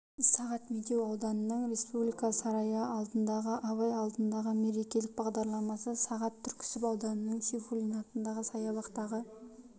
сағат медеу ауданының республика сарайы алдындағы абай алаңындағы мерекелік бағдарламасы сағат түркісіб ауданының сейфуллин атындағы саябақтағы